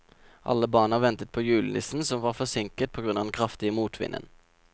Alle barna ventet på julenissen, som var forsinket på grunn av den kraftige motvinden.